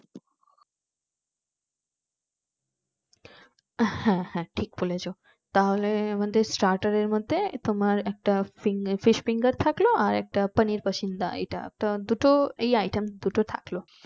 হ্যাঁ হ্যাঁ ঠিক বলেছো তাহলে আমাদের starter এর মধ্যে তোমার একটা fish finger থাকলো এক একটা পানির পাসিন্দা এটা তা এই দুটো দুটো item থাকলো